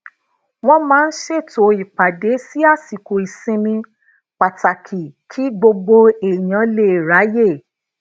wón máa ń ṣètò ìpàdé si asiko ìsinmi pàtàkì kí gbogbo èèyàn lè raye